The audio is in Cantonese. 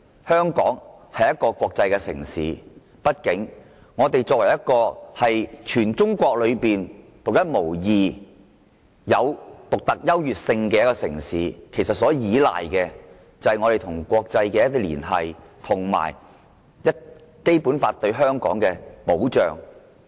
香港是一個國際城市，亦是全中國獨一無二、有其獨特優越性的城市，所依賴的是與國際社會的連繫，以及《基本法》對香港的保障。